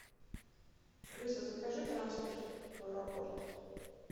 алиса закажи трансфер в аэропорт